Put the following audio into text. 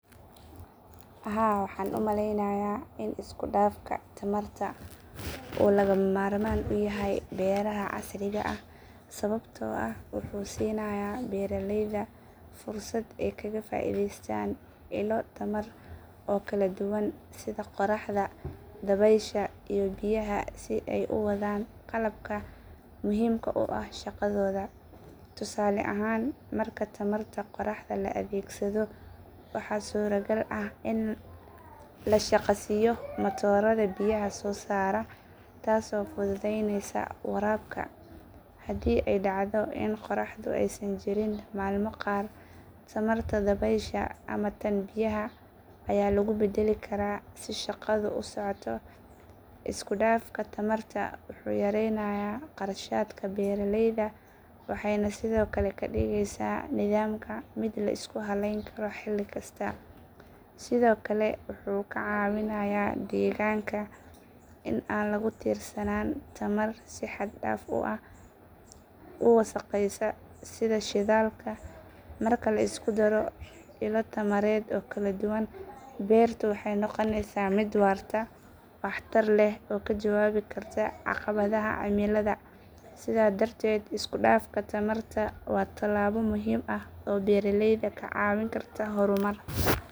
Haa waxaan u malaynayaa in isku dhafka tamarta uu lagama maarmaan u yahay beeraha casriga ah sababtoo ah wuxuu siinayaa beeraleyda fursad ay kaga faa’iideystaan ilo tamar oo kala duwan sida qoraxda, dabaysha iyo biyaha si ay u wadaan qalabka muhiimka u ah shaqadooda. Tusaale ahaan marka tamarta qoraxda la adeegsado waxaa suuragal ah in la shaqaysiiyo matoorada biyaha soo saara, taasoo fududeynaysa waraabka. Haddii ay dhacdo in qoraxdu aysan jirin maalmo qaar, tamarta dabaysha ama tan biyaha ayaa lagu beddeli karaa si shaqadu u socoto. Isku dhafka tamarta wuxuu yareynayaa kharashaadka beeraleyda waxayna sidoo kale ka dhigaysaa nidaamka mid la isku halayn karo xilli kasta. Sidoo kale wuxuu ka caawinayaa deegaanka in aan lagu tiirsanaan tamar si xad dhaaf ah u wasakhaysa sida shidaalka. Marka la isku daro ilo tamareed oo kala duwan beertu waxay noqonaysaa mid waarta, waxtar leh oo ka jawaabi karta caqabadaha cimilada. Sidaas darteed isku dhafka tamarta waa talaabo muhiim ah oo beeraleyda ka caawin karta horumar joogto ah.